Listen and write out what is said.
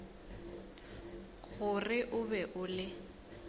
gore o be o le